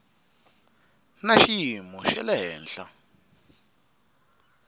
na xiyimo xa le henhla